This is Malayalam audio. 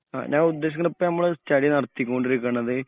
ഞാൻ ഉദേശിക്കുന്നത് ഇപ്പോ നമ്മൾ സ്റ്റഡി നടത്തി കൊണ്ടിരിക്കുന്നത്